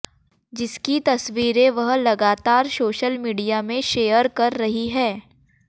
जिसकी तस्वीरें वह लागातर सोशल मीडिया में शेयर कर रही हैं